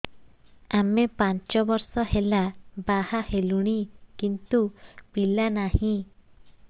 ଆମେ ପାଞ୍ଚ ବର୍ଷ ହେଲା ବାହା ହେଲୁଣି କିନ୍ତୁ ପିଲା ନାହିଁ